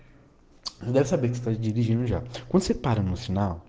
для особенных детей уже после пары начинал